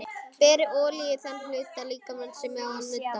Berið olíu á þann hluta líkamans sem á að nudda.